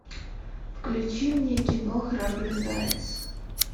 включи мне кино храбрый заяц